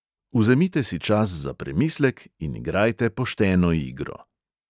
Vzemite si čas za premislek in igrajte pošteno igro.